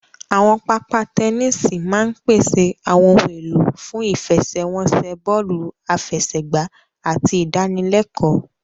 Àwọn pápá tẹníìsì máa ń pèsè àwọn ohun èlò fún ìfẹsẹ̀wọnsẹ̀ bọ́ọ̀lù àfẹsẹ̀gbá àti ìdánilẹ́kọ̀ọ